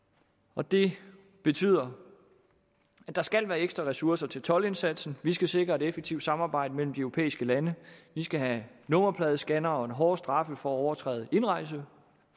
og det betyder at der skal være ekstra ressourcer til toldindsatsen vi skal sikre et effektivt samarbejde mellem de europæiske lande vi skal have nummerpladescannere og hårdere straffe for at overtræde indrejseforbud